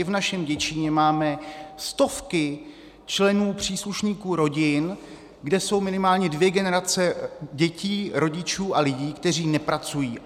I v našem Děčínu máme stovky členů, příslušníků rodin, kde jsou minimálně dvě generace dětí, rodičů a lidí, kteří nepracují.